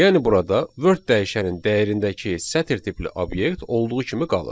Yəni burada word dəyişənin dəyərindəki sətr tipli obyekt olduğu kimi qalır.